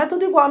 É tudo igual.